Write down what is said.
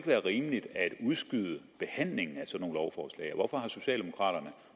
være rimeligt at udskyde behandlingen af sådan nogle lovforslag og hvorfor socialdemokraterne